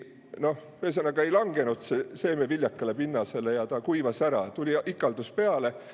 Noh, ühesõnaga ei langenud seeme viljakale pinnasele, see kuivas ära, tuli ikaldus peale.